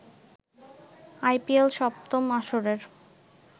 IPL সপ্তম আসরের